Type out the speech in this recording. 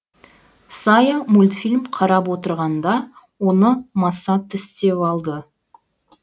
сая мультфильм қарап отырғанда оны маса тістеп алды